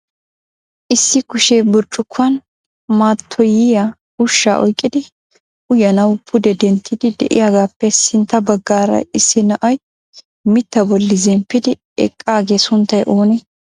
Issi kushee burccukuwan matoyiyaa ushshaa oyqqidi uyyananaw pude denttiidi de'iyaagappe sintta baggaara issi na'ay mitta bolli zemppidi eqqaaga sunttay oonee?